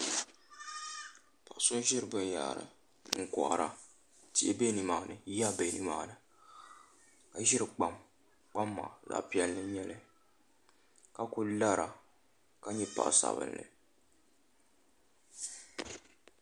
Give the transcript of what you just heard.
Paɣa so n ʒiri binyɛra n kohari tihi bɛ nimaani yiya bɛ nimaani ka ʒiri kpam kpam maa zaɣ piɛlli n nyɛli ka ku lara ka nyɛ paɣa sabinli